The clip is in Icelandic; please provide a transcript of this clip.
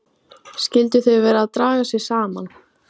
Skyldu þau vera að draga sig saman?